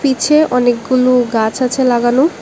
অনেকগুলো গাছ আছে লাগানো।